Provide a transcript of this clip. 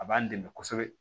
A b'an dɛmɛ kosɛbɛ